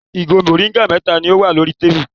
Ìgò mòríngà mẹ́ta ni ó wà lórí tábìlì.